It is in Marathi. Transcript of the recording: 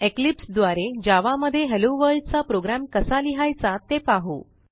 इक्लिप्स द्वारे जावा मध्ये हेल्लो वर्ल्ड चा प्रोग्रॅम कसा लिहायचा ते पाहू